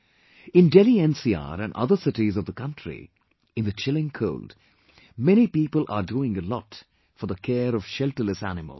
In Delhi NCR and other cities of the country in the chilling cold many people are doing a lot for the care of shelterless animals